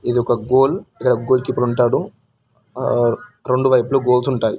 ఇదొక goal goalkeeper ఉంటాడు ఆ రెండు వైపులు గోల్స్ ఉంటాయి